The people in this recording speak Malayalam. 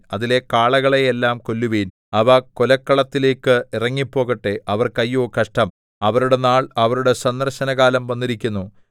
അതിലെ കാളകളെ എല്ലാം കൊല്ലുവിൻ അവ കൊലക്കളത്തിലേക്ക് ഇറങ്ങിപ്പോകട്ടെ അവർക്ക് അയ്യോ കഷ്ടം അവരുടെ നാൾ അവരുടെ സന്ദർശനകാലം വന്നിരിക്കുന്നു